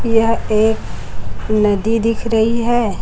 यह एक नदी दिख रहीं हैं।